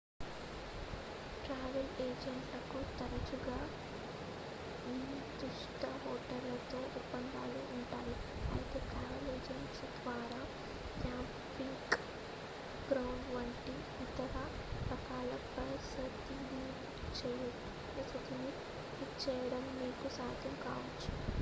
travel ఏజెంట్లకు తరచుగా నిర్ధిష్ట హోటళ్లతో ఒప్పందాలు ఉంటాయి అయితే ట్రావెల్ ఏజెంట్ ద్వారా క్యాంపింగ్ గ్రౌండ్స్ వంటి ఇతర రకాల వసతి ని బుక్ చేయడం మీకు సాధ్యం కావొచ్చు